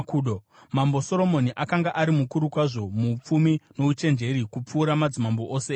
Mambo Soromoni akanga ari mukuru kwazvo muupfumi nouchenjeri kupfuura madzimambo ose enyika.